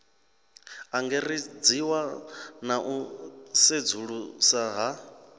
angaredziwa na u sedzulusa ha